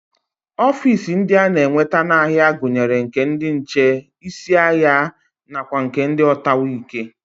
Ofiisi ndị a na-enweta n'ahịa gụnyere nke ndị nche, isi ahịa nakwa nke ndị ọtawaike